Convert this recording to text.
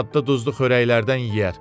Daddı-duzlu xörəklərdən yeyər.